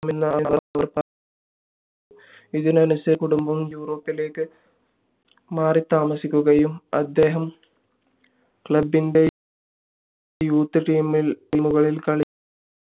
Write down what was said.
എന്നവർ പറഞ്ഞു അതിനനുസരിച്ചു അദ്ദേഹത്തിൻറെ കുടുംബം യുറോപ്പിലേക്ക് മാറിത്താമസിക്കുകയും അദ്ദേഹം club ൻറെ youth team കളിൽ കളി